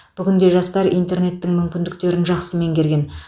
бүгінде жастар интернеттің мүмкіндіктерін жақсы меңгерген